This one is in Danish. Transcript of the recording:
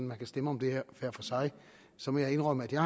man kan stemme om det her hver for sig så må jeg indrømme at jeg